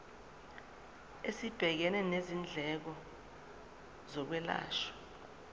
esibhekene nezindleko zokwelashwa